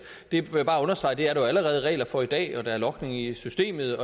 vil jeg bare understrege at det er der jo allerede regler for i dag og at der er logning i systemet